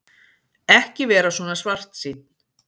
Ekki vera svona svartsýnn.